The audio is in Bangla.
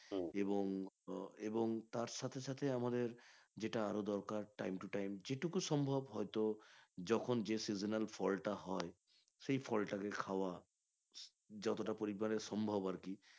এবং এবং তার সাথে সাথে আমাদের যেটা আরও দরকার time to time যেটুকু সম্ভব হয়তো যখন যে seasonal ফলটা হয় সেই ফলতাকে খাওয়া যতটা পরিমানে সম্ভব আরকি